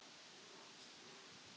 Verða þeir eitthvað með Þrótti í sumar?